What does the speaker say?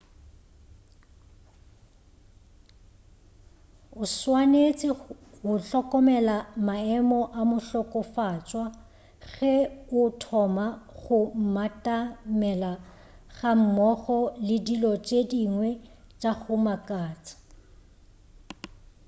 o swanetše o hlokomele maemo a mohlokofatšwa ge o thoma go mmatamela ga mmogo le dilo tše dingwe tša go makatša